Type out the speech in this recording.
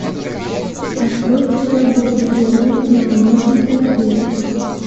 открой киноработу три лани на алмазной тропе